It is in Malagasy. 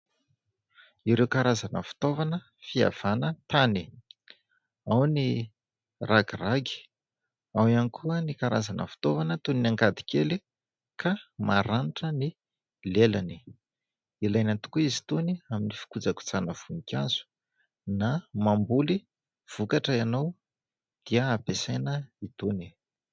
Ireo karazana fitaovana fihavana tany ; ao ny ragiragy, ao ihany koa ny karazana fitaovana toy ny angady kely ka maranitra ny lelany. Ilaina tokoa izy itony amin'ny fikojakojana voninkazo na mamboly vokatra ianao dia ampiasaina itony.